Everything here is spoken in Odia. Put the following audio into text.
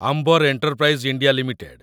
ଆମ୍ବର ଏଣ୍ଟରପ୍ରାଇଜ୍ ଇଣ୍ଡିଆ ଲିମିଟେଡ୍